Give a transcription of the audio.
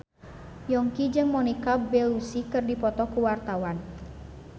Yongki jeung Monica Belluci keur dipoto ku wartawan